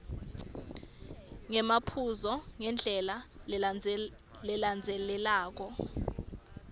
ngemaphuzu ngendlela lelandzelelako